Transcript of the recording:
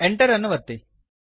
Enter ಅನ್ನು ಒತ್ತಿರಿ